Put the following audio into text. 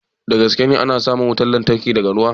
Da gaske ne ana samun wutan lantarki daga ruwa?